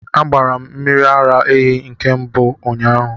A gbara m mmiri ara ehi nke mbụm ụnyahụ